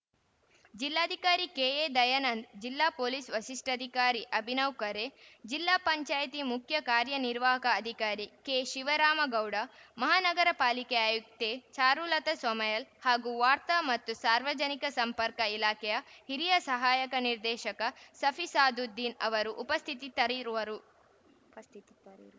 ಜಿಲ್ಲಾಧಿಕಾರಿ ಕೆಎ ದಯನಂದ್‌ ಜಿಲ್ಲಾ ಪೊಲೀಸ್‌ ವರಿಷ್ಠಾಧಿಕಾರಿ ಅಭಿನವಖರೆ ಜಿಲ್ಲಾ ಪಂಚಾಯಿತಿ ಮುಖ್ಯ ಕಾರ್ಯನಿರ್ವಾಹಕ ಅಧಿಕಾರಿ ಕೆ ಶಿವರಾಮಗೌಡ ಮಹಾನಗರಪಾಲಿಕೆ ಆಯುಕ್ತೆ ಚಾರುಲತ ಸೋಮಯಲ್‌ ಹಾಗೂ ವಾರ್ತಾ ಮತ್ತು ಸಾರ್ವಜನಿಕ ಸಂಪರ್ಕ ಇಲಾಖೆಯ ಹಿರಿಯ ಸಹಾಯಕ ನಿರ್ದೇಶಕ ಶಫಿಸಾದುದ್ದೀನ್‌ ಅವರು ಉಪಸ್ಥಿತಿತರಿರುವರು